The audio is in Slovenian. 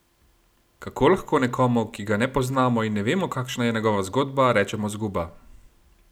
Kako lahko nekomu, ki ga ne poznamo in ne vemo, kakšna je njegova zgodba, rečemo zguba?